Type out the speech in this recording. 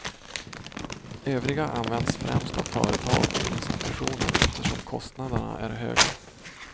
Övriga används främst av företag och institutioner eftersom kostnaderna är höga.